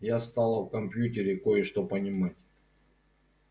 я стала о компьютере кое-что понимать